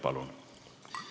Palun!